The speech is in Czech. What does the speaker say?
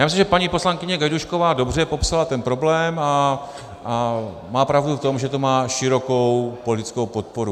Já myslím, že paní poslankyně Gajdůšková dobře popsala ten problém a má pravdu v tom, že to má širokou politickou podporu.